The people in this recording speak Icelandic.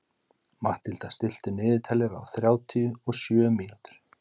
Matthilda, stilltu niðurteljara á þrjátíu og sjö mínútur.